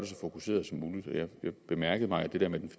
så fokuseret som muligt jeg bemærkede mig at det der med den